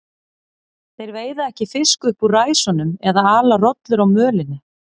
Þeir veiða ekki fisk upp úr ræsunum eða ala rollur á mölinni.